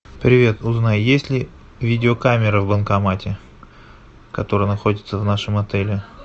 привет узнай есть ли видеокамера в банкомате который находится в нашем отеле